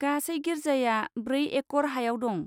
गासै गिर्जाया ब्रै एकड़ हायाव दं।